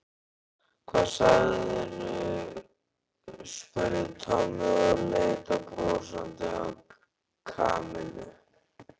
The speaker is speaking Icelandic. Hvað sagðirðu? spurði Tommi og leit brosandi á Kamillu.